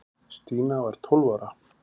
Stína var tólf ára.